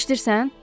Eşidirsən?